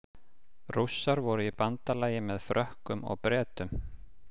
Rússar voru í bandalagi með Frökkum og Bretum.